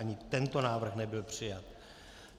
Ani tento návrh nebyl přijat.